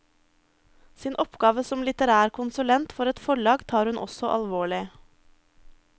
Sin oppgave som litterær konsulent for et forlag tar hun også alvorlig.